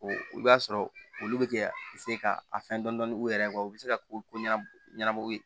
I b'a sɔrɔ olu bɛ kɛ ka a fɛn dɔɔnin u yɛrɛ kɔ u bɛ se ka ko ɲɛnabɔ ɲɛngo ye